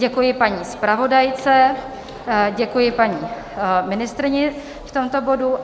Děkuji paní zpravodajce, děkuji paní ministryni v tomto bodu.